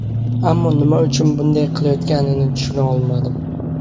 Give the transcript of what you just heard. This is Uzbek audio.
Ammo nima uchun bunday qilishganini tushuna olmadim”.